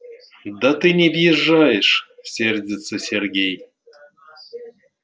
да ты не въезжаешь сердится сергей